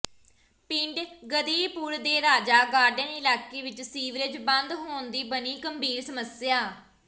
ਪਿੰਡ ਗਦਈਪੁਰ ਦੇ ਰਾਜਾ ਗਾਰਡਨ ਇਲਾਕੇ ਵਿਚ ਸੀਵਰੇਜ ਬੰਦ ਹੋਣ ਦੀ ਬਣੀ ਗੰਭੀਰ ਸਮੱਸਿਆ